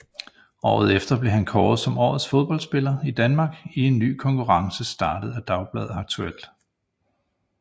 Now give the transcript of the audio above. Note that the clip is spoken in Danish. Året efter blev han kåret som Årets Fodboldspiller i Danmark i en ny konkurrence startet af dagbladet Aktuelt